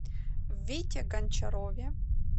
вите гончарове